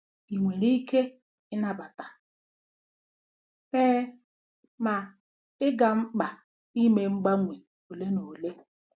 Ị nwere ike i nabata? Ee, ma ị ga-mkpa ime mgbanwe ole na ole.